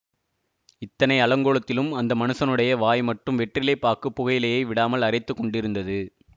இத்தனை அலங்கோலத்திலும் அந்த மனுஷருடைய வாய் மட்டும் வெற்றிலை பாக்குப் புகையிலையை விடாமல் அரைத்துக் கொண்டிருந்தது